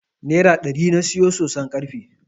Nera ɗari na siyo soson karfen.